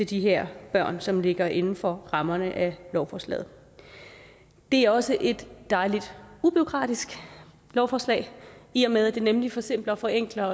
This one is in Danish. de her børn som ligger inden for rammerne af lovforslaget det er også et dejligt ubureaukratisk lovforslag i og med at det nemlig forsimpler og forenkler